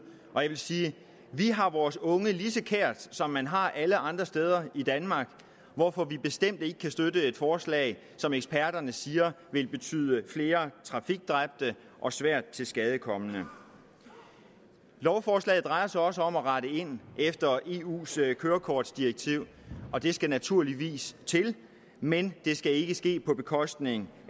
og jeg vil sige vi har vores unge lige så kære som man har alle andre steder i danmark hvorfor vi bestemt ikke kan støtte et forslag som eksperterne siger vil betyde flere trafikdræbte og svært tilskadekomne lovforslaget drejer sig også om at rette ind efter eus kørekortdirektiv og det skal naturligvis til men det skal ikke ske på bekostning